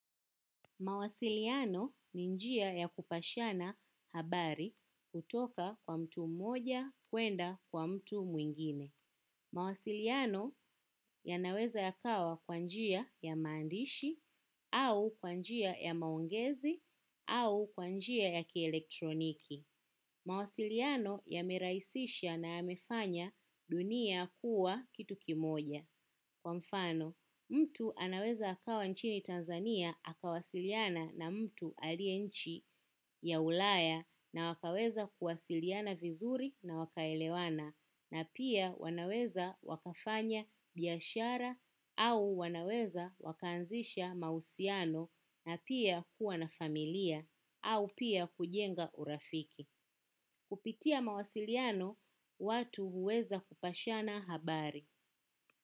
Mawasiliano ni njia ya kupashana habari kutoka kwa mtu mmoja kuenda kwa mtu mwingine. Mawasiliano yanaweza yakawa kwa njia ya maandishi au kwa njia ya maongezi au kwa njia ya kielektroniki. Mawasiliano yamerahisisha na yamefanya dunia kuwa kitu kimoja. Kwa mfano, mtu anaweza akawa nchini Tanzania akawasiliana na mtu aliye nchi ya ulaya na wakaweza kuwasiliana vizuri na wakaelewana na pia wanaweza wakafanya biashara au wanaweza wakaanzisha mahusiano na pia kuwa na familia au pia kujenga urafiki. Kupitia mawasiliano watu huweza kupashana habari.